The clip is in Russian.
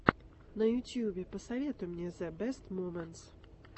на ютьюбе посоветуй мне зэ бэст моментс